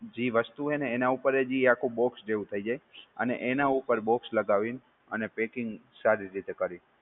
જી વસ્તુ હોય ને એના ઉપર એ જી આખું box જેવુ થઈ જાય, અને એના ઉપર box લગાવીને અને packing સારી રીતે કરી.